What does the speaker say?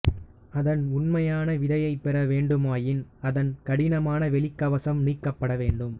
அதன் உண்மையான விதையைப் பெற வேண்டுமாயின் அதன் கடினமான வெளிக் கவசம் நீக்கப்பட வேண்டும்